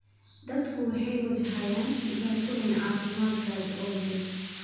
Dadku waxay wajahayaan dhibaatooyin caafimaad gaajo awgeed.